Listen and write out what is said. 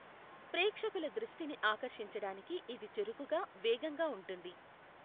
ప్రేక్షకుల దృష్టిని ఆకర్షించడానికి ఇది చురుకుగా, వేగంగా ఉంటుంది.